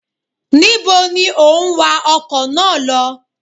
Ní bo ni o ń wa ọkọ̀ náà lọ?